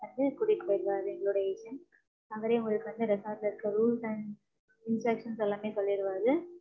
வந்து, கூட்டிட்டு போயிடுவாரு. எங்களுடைய, agent அவரே உங்களுக்கு வந்து, resort ல இருக்க rules and instructions எல்லாமே, சொல்லிடுவாரு.